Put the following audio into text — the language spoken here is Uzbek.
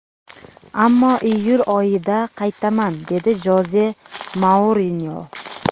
Ammo iyul oyida qaytaman”, – dedi Joze Mourinyo.